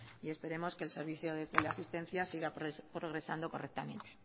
y esperemos que el servicio de teleasistencia siga progresando correctamente